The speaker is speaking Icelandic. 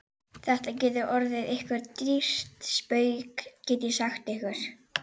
Þetta getur orðið ykkur dýrt spaug, get ég sagt ykkur!